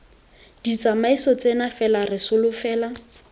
ditsamaiso tseno fela re solofela